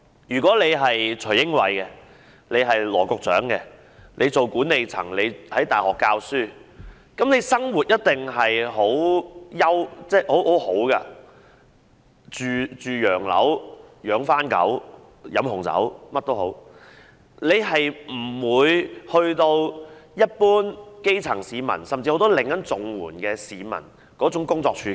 若是徐英偉、羅局長那樣的管理人員或是在大學任教的人，生活一定十分優越，"住洋樓、養番狗、飲紅酒"，無論如何也不會面對一般基層市民、甚至很多正在領取綜援的市民那樣的工作處境。